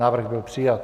Návrh byl přijat.